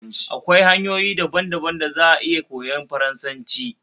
Akwai hanyoyi daban daban da za a iya koyan Faransanci